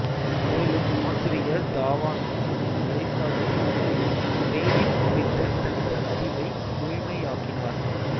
மேலும் ஆசிரியர் தாவாமியின் வழிகாட்டுதலின் கீழ் ரேடிஃப் குறித்த தனது அறிவை முழுமையாக்கினார்